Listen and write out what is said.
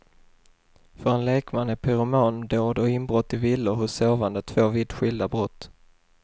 För en lekman är pyromandåd och inbrott i villor hos sovande två vitt skilda brott.